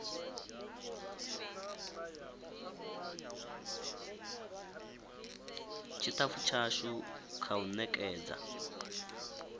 tshitafu tshashu kha u nekedza